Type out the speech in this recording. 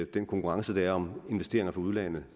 den konkurrence der er om investeringer fra udlandet